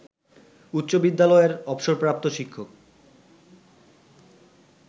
উচ্চ বিদ্যালয়ের অবসরপ্রাপ্ত শিক্ষক